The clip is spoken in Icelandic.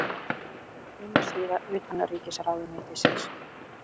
Heimasíða utanríkisráðuneytisins.